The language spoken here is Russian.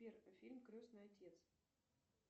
сбер фильм крестный отец